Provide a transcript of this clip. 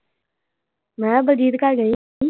ਮੈਂ ਕਿਹਾ ਬਲਜੀਤ ਘਰ ਚੱਲੀਏ।